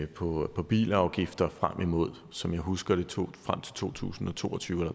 på bilafgifter frem imod som jeg husker det to to tusind og to og tyve